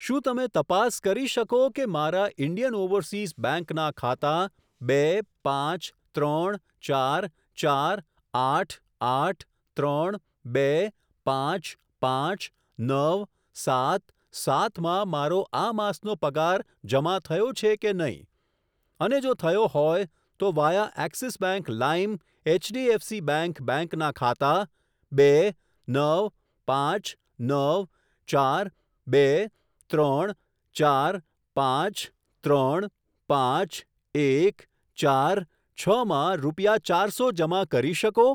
શું તમે તપાસ કરી શકો કે મારા ઇન્ડિયન ઓવરસીઝ બેંક ના ખાતા બે પાંચ ત્રણ ચાર ચાર આઠ આઠ ત્રણ બે પાંચ પાંચ નવ સાત સાત માં મારો આ માસનો પગાર જમા થયો છે કે નહીં, અને જો થયો હોય, તો વાયા એક્સિસ બેંક લાઇમ એચડીએફસી બેંક બેંકના ખાતા બે નવ પાંચ નવ ચાર બે ત્રણ ચાર પાંચ ત્રણ પાંચ એક ચાર છ માં રૂપિયા ચારસો જમા કરી શકો?